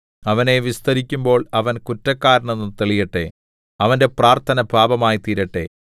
അവനെ വിസ്തരിക്കുമ്പോൾ അവൻ കുറ്റക്കാരനെന്നു തെളിയട്ടെ അവന്റെ പ്രാർത്ഥന പാപമായിത്തീരട്ടെ